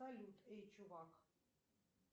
салют эй чувак